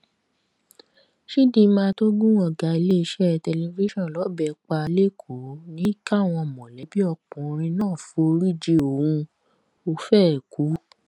chidinma tó gun ọ̀gá iléeṣẹ́ tẹlifíṣàn lọ́bẹ pa lẹ́kọ̀ọ́ ní káwọn mọ̀lẹ́bí ọkùnrin náà foríjì òun ò fẹẹ kú